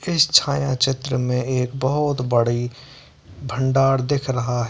इस छाया चित्र में एक बहुत बड़ी भंडार दिख रहा है।